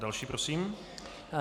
Další prosím.